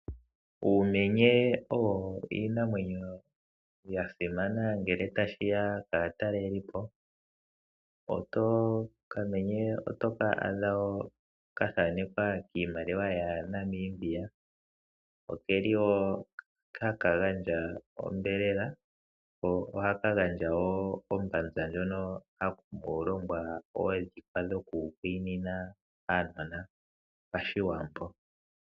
Uumenye owo iinamwenyo ya simana ngele tashi ya kaatalelipo. Okamenye oto ka adha wo ka thanekwa kiimaliwa yaNamibia. Oke li wo haka gandja onyama, ko ohaka gandja wo ombanza ndjoka hamu longwa oondhikwa dhokukwiinina aanona paShiwambo.